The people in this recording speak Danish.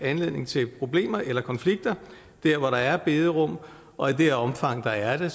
anledning til problemer eller konflikter der hvor der er bederum og i det omfang der er det